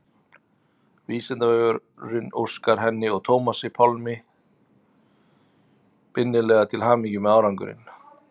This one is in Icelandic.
Vísindavefurinn óskar henni og Tómasi Pálmi innilega til hamingju með árangurinn.